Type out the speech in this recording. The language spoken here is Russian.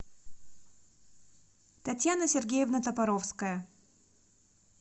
татьяна сергеевна топоровская